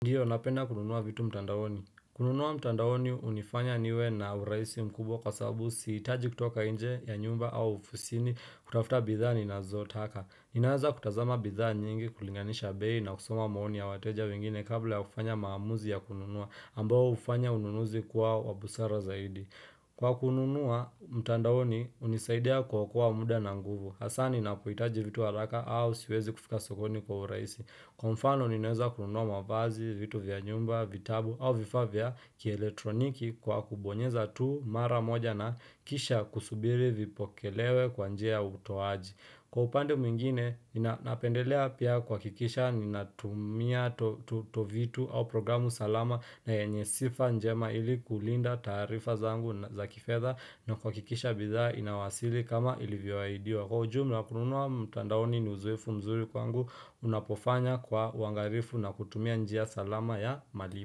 Ndiyo napenda kununua vitu mtandaoni kununua mtandaoni hunifanya niwe na urahisi mkubwa kwa sababu sihitaji kutoka nje ya nyumba au ofisini kutafuta bidhaa ninazotaka Ninaweza kutazama bidhaa nyingi kulinganisha bei na kusoma maoni ya wateja wengine kabla ya kufanya maamuzi ya kununua ambao hufanya ununuzi kwa busara zaidi Kwa kununua mtandaoni hunisaidia kuokoa muda na nguvu Hasa ninapohitaji vitu haraka au siwezi kufika sokoni kwa urahisi Kwa mfano ninaweza kununua mavazi vitu vya nyumba, vitabu au vifaa vya kieletroniki kwa kubonyeza tu mara moja na kisha kusubiri vipokelewe kwa njia ya utoaji Kwa upande mwingine, napendelea pia kuhakikisha ninatumia tovitu au programu salama na yenye sifa njema ili kulinda taarifa zangu za kifedha na kuhakikisha bidhaa inawasili kama ilivyowaidiwa Kwa ujumla kununua mtandaoni ni uzoefu mzuri kwangu unapofanya kwa uangalifu na kutumia njia salama ya malipo.